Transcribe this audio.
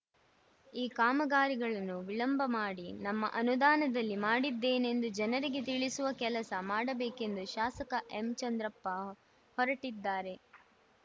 ಈ ಕಾಮಗಾರಿಗಳನ್ನು ವಿಳಂಬ ಮಾಡಿ ನಮ್ಮ ಅನುದಾನದಲ್ಲಿ ಮಾಡಿದ್ದೇನೆಂದು ಜನರಿಗೆ ತಿಳಿಸುವ ಕೆಲಸ ಮಾಡಬೇಕೆಂದು ಶಾಸಕ ಎಂಚಂದ್ರಪ್ಪ ಹೊರಟಿದ್ದಾರೆ